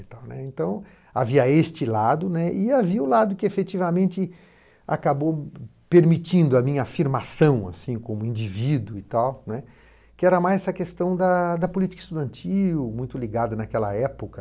e tal né, então, havia este lado né, e havia o lado que efetivamente acabou permitindo a minha afirmação, assim, como indivíduo e tal né, que era mais essa questão da da política estudantil, muito ligada naquela época.